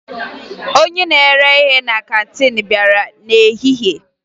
Onye na-ere ihe na kantiin bịara n'ehihie